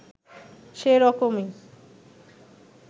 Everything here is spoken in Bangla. সে রকমই